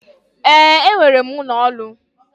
Ee, enwere m ụlọ ọrụ.